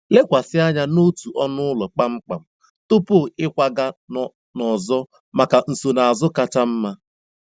Lekwasị anya n'otu ọnụ ụlọ kpamkpam tupu ịkwaga n'ọzọ maka nsonaazụ kacha mma.